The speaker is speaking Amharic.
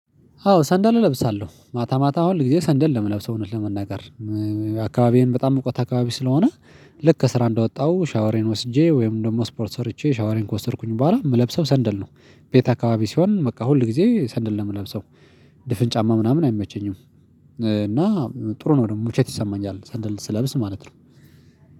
አዎ ሰንደል እለብሳለሁ ማታ ማታ ሁል ጊዜ ሰንደል ነው የምለብሰው እውነት ለመናገር። አካባቢዬን በጣም ሙቀት አካባቢ ስለሆነ። ልክ ከስራ እንደወጣሁ ሻወሬን ወስጄ ወይም ደግሞ ስፖርት ሰርቼ ሻወሬን ከወሰድኩኝ በኋላ የምለብሰው ሰንደል ነው። ቤት አካባቢ ሲሆን በቃ ሁል ጊዜ ሰንደል ነው የምለብሰው። ድፍን ጫማ ምናምን አይመቸኝም። እና ጥሩ ነው ደግሞ ምቾት ይሰማኛል ሰንደል ስለብስ ማለት ነው።